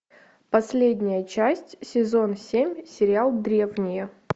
последняя часть сезон семь сериал древние